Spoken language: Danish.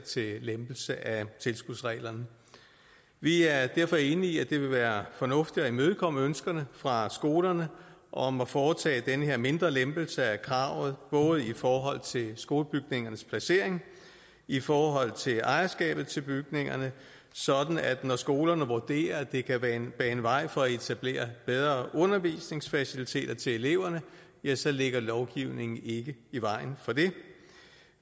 til lempelse af tilskudsreglerne vi er derfor enige i at det vil være fornuftigt at imødekomme ønskerne fra skolerne om at foretage den her mindre lempelse af kravet både i forhold til skolebygningernes placering og i forhold til ejerskabet til bygningerne sådan at når skolerne vurderer at det kan bane bane vej for at etablere bedre undervisningsfaciliteter til eleverne ja så ligger lovgivningen ikke i vejen for det